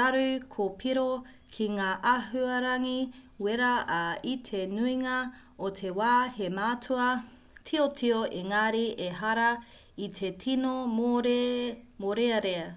raru kōpiro ki ngā āhuarangi wera ā i te nuinga o te wā he mātua tiotio engari ehara i te tino mōrearea